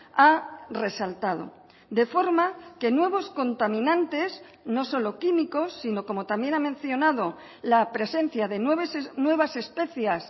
ha resaltado de forma que nuevos contaminantes no solo químicos sino como también ha mencionado la presencia de nuevas especies